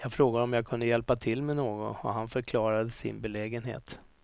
Jag frågade om jag kunde hjälpa till med något och han förklarade sin belägenhet.